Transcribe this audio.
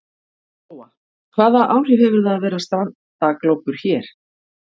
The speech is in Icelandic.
Lóa: Hvaða áhrif hefur það að vera strandaglópur hér?